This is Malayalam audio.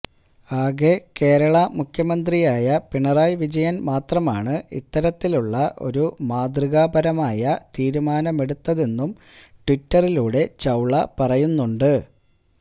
ആകെ കേരളാ മുഖ്യമന്ത്രിയായ പിണറായി വിജയൻ മാത്രമാണ് ഇത്തരത്തിലുള്ള ഒരു മാതൃകാപരമായ തീരുമാനമെടുത്തതെന്നും ട്വീറ്റിലൂടെ ചൌള പറയുന്നുണ്ട്